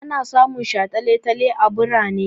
Ana samun shataletale a birane.